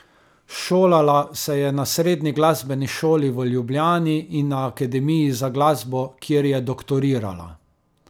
Šolala se je na Srednji glasbeni šoli v Ljubljani in na Akademiji za glasbo, kjer je doktorirala.